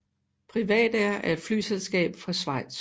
PrivatAir er et flyselskab fra Schweiz